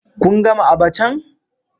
Kun gama abachan?